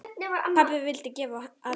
Pabbi vildi gefa og kenna.